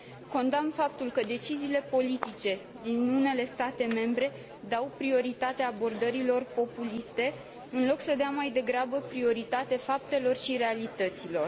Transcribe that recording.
Condamn faptul că deciziile politice din unele state membre dau prioritate abordărilor populiste, în loc să dea mai degrabă prioritate faptelor și realităților.